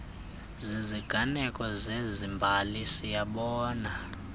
ziziganeko zezembali siyabona